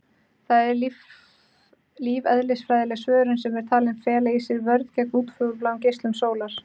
Þetta er lífeðlisfræðileg svörun sem er talin fela í sér vörn gegn útfjólubláum geislum sólar.